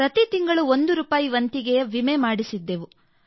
ಪ್ರತಿ ತಿಂಗಳು ಒಂದು ರೂಪಾಯಿ ವಂತಿಗೆಯ ವಿಮೆ ಮಾಡಿಸಿದ್ದೆವು